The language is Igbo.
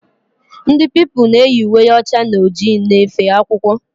Ndị Pupilụ na eyi uwe ọcha na ojii na efe akwụkwọ